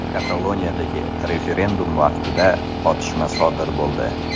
Kataloniyadagi referendum vaqtida otishma sodir bo‘ldi.